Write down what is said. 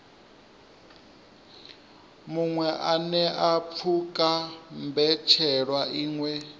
muṅwe anea pfuka mbetshelwa iṅwe